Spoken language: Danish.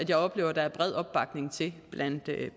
jeg oplever der er bred opbakning til